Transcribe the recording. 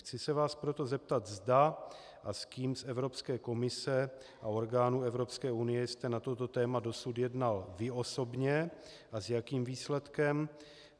Chci se vás proto zeptat, zda a s kým z Evropské komise a orgánů Evropské unie jste na toto téma dosud jednal vy osobně a s jakým výsledkem.